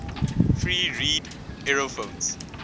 free reed aerophones